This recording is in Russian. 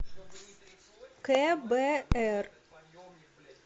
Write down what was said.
кбр